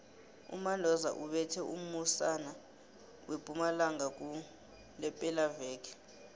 umandoza ubethe umusana wempumalanga kulephelaveke